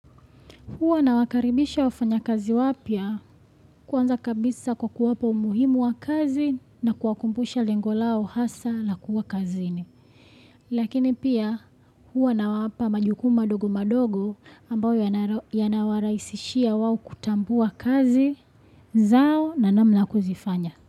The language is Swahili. Huwa nawakaribisha wafanyakazi wapya. Kwanza kabisa kwa kuwapa umuhimu wa kazi na kuwakumbusha lengo lao hasa la kuwa kazini Lakini pia, huwa nawapa majukumu madogo madogo, ambayo yanara, yanawarahisishia wao kutambua kazi zao na namna ya kuzifanya.